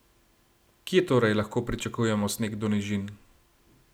Kje torej lahko pričakujemo sneg do nižin?